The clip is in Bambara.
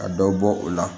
Ka dɔ bɔ o la